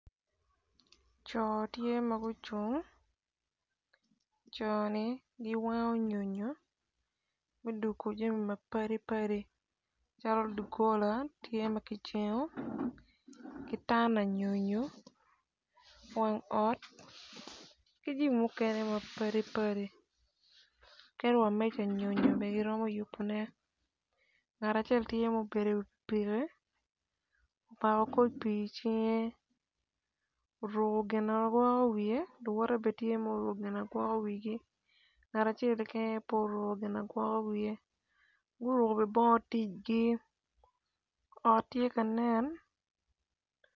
Co tye ma gucung co-ni guwango nyonyo gudungu jami mapipadi jalo doggola tye ma ki jengo ki tana nyonyo wang ot jami mukene mapadi padi kede wa meja nyonyo bene giromo yubune ngat acel tye mubedo i wi pikipiki omako koc pii i cinge oruku gina gwoko wiye luwote bene tye ma guruku gina gwoko wigi ngat acel keken aye pu oruku gina gwoko wiye gurku be bongo ticgi ot tye ka nen.